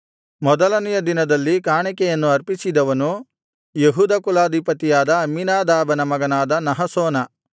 ಮೊದಲನೆಯ ದಿನದಲ್ಲಿ ಕಾಣಿಕೆಯನ್ನು ಅರ್ಪಿಸಿದವನು ಯೆಹೂದ ಕುಲಾಧಿಪತಿಯಾದ ಅಮ್ಮೀನಾದಾಬನ ಮಗನಾದ ನಹಶೋನ